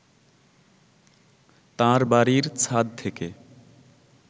তাঁর বাড়ীর ছাদ থেকে